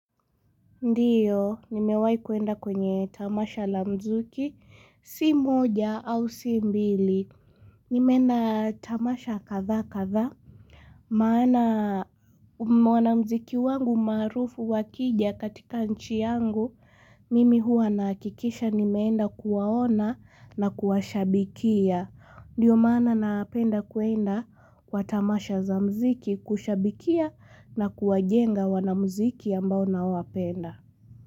Ndiyo, nimewai kwenda kwenye tamasha la muziki, si moja au si mbili. Nimeenda tamasha kadhaa kadhaa. Maana wanamziki wangu marufu wakija katika nchi yangu. Mimi hua nahakikisha nimeenda kuwaona na kuwashabikia. Ndiyo maana napenda kwenda kwa tamasha za muziki kushabikia na kuwajenga wanamziki ambao nawapenda.